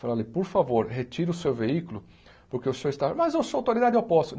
Falei, olhe por favor, retire o seu veículo porque o senhor está... Mas eu sou autoridade, eu posso.